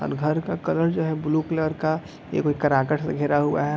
और घर का कलर जो है ब्लू कलर का एगो कराकाट से घेरा हुआ है।